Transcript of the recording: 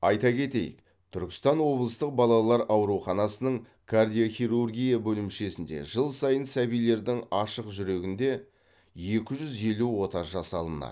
айта кетейік түркістан облыстық балалар ауруханасының кардиохирургия бөлімшесінде жыл сайын сәбилердің ашық жүрегінде екі жүз елу ота жасалынады